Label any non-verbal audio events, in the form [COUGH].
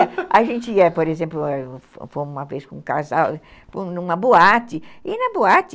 [LAUGHS] A gente ia, por exemplo, fomos uma vez com um casal numa boate e na boate